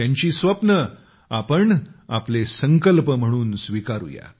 त्यांची स्वप्ने आपण आपले संकल्प म्हणून स्वीकारू या